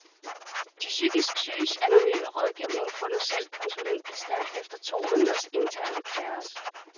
De psykisk syges anonyme rådgivning får nu selv konsulentbistand efter to måneders intern kaos.